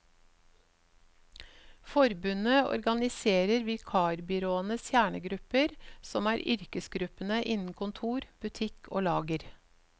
Forbundet organiserer vikarbyråenes kjernegrupper som er yrkesgruppene innen kontor, butikk og lager.